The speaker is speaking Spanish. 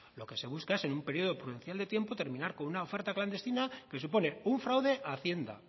lo que se busca es en un periodo prudencial de tiempo terminar con una oferta clandestina que supone un fraude a hacienda